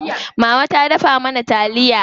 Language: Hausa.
Mama ta dafa mana taliya.